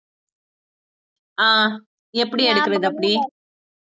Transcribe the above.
அஹ் எப்படி எடுக்கறது அப்டி